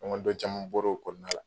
Ɲɔgɔndɔn caman bɔra o kɔnɔna la